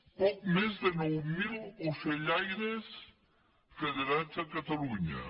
poc més de nou mil ocellaires federats a catalunya